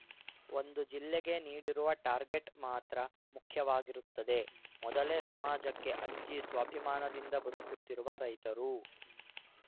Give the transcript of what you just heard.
ಒಂದು ಜಿಲ್ಲೆಗೆ ನೀಡಿರುವ ಟಾರ್ಗೆಟ್‌ ಮಾತ್ರ ಮುಖ್ಯವಾಗಿರುತ್ತದೆ ಮೊದಲೇ ಸಮಾಜಕ್ಕೆ ಅಂಜಿ ಸ್ವಾಭಿಮಾನದಿಂದ ಬದುಕುತ್ತಿರುವ ರೈತರು